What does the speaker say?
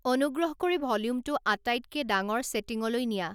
অনুগ্ৰহ কৰি ভ'ল্যুমটো আটাইতকে ডাঙৰ ছেটিংলৈ নিয়া